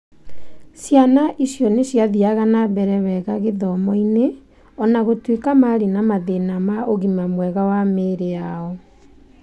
Ciana icio nĩ ciathiaga na mbere wega gĩthomo-inĩ o na gũtuĩka marĩ na mathĩna ma ũgima mwega wa mĩĩrĩ yao.